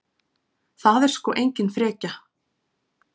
Það er sko engin frekja.